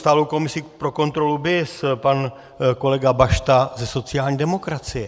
Stálou komisi pro kontrolu BIS - pan kolega Bašta ze sociální demokracie.